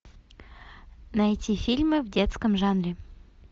найти фильмы в детском жанре